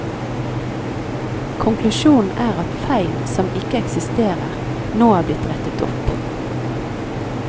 Konklusjonen er at feil som ikke eksisterer, nå er blitt rettet opp.